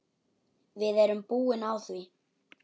Við erum búin á því.